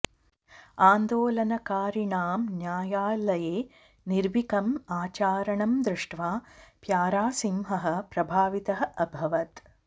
आन्दोलनकारिणां न्यायालये निर्भीकम् आचरणं दृष्ट्वा प्यारासिंहः प्रभावितः अभवत्